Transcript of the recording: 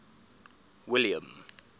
william